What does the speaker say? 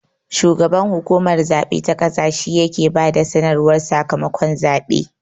Shugaban hukumar zabe ta ƙasa shi ya he ba da sanarwar sakamakon zaɓe